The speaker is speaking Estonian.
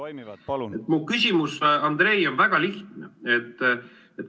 Mu küsimus, Andrei, on väga lihtne.